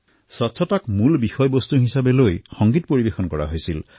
স্বচ্ছতাৰ থীমৰ ওপৰত সংগীত প্ৰদৰ্শন হল